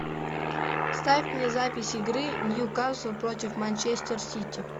ставь мне запись игры ньюкасл против манчестер сити